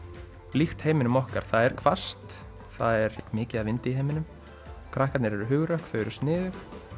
líkt heiminum okkar það er hvasst það er mikið af vindi í heiminum krakkarnir eru hugrökk og sniðug